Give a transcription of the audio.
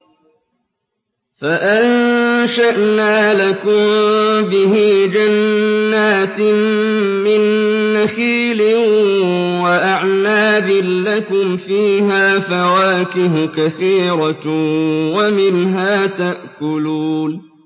فَأَنشَأْنَا لَكُم بِهِ جَنَّاتٍ مِّن نَّخِيلٍ وَأَعْنَابٍ لَّكُمْ فِيهَا فَوَاكِهُ كَثِيرَةٌ وَمِنْهَا تَأْكُلُونَ